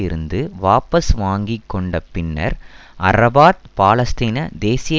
இருந்து வாபஸ் வாங்கி கொண்ட பின்னர் அரபாத் பாலஸ்தீன தேசிய